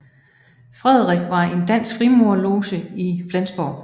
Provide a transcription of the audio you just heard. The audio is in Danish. Frederik var en dansk frimurerloge i Flensborg